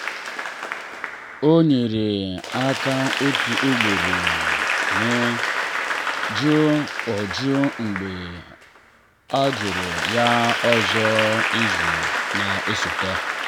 ọ nyere aka otu ugboro ma jụ o jụ mgbe a jụrụ ya ọzọ izu na-esote.